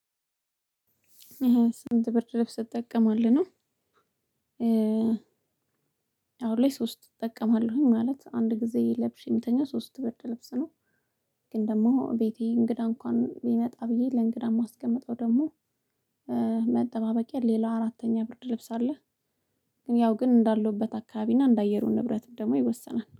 ስንት ብርድ ልብስ ትጠቀማለህ ነው? እ አሁን ላይ ሶስት እጠቀማለሁኝ ማለት አንድ ጊዜ ለብሼ የምተኛው ሶስት ብርድ ልብስ ነው ግን ደግሞ ቤቴ እንግዳ እንኳን ቢመጣ ብዬ ለእንግዳ የማስቀምጠው ደግሞ መጠባበቂያ ሌላ አራተኛ ብርድ ልብስ አለ ግን ያው ግን እንዳለውበት አካባቢ እና እንደ አየሩ ንብረት ደግሞ ይወሰናል።